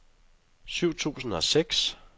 syv tusind og seks